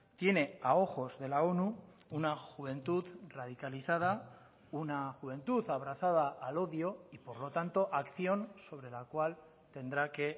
tiene a ojos de la onu una juventud radicalizada una juventud abrazada al odio y por lo tanto acción sobre la cual tendrá que